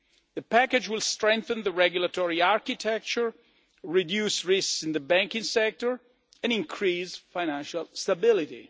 The package will strengthen the regulatory architecture, reduce risks in the banking sector and increase financial stability.